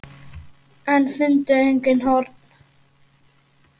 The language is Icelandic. En fundu engin horn.